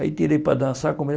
Aí tirei para dançar.